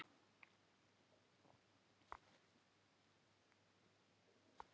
Bíll skemmdist mikið en enginn meiddist